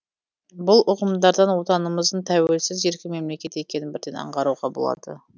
бұл ұғымдардан отанымыздың тәуелсіз еркін мемлекет екенін бірден аңғаруға болады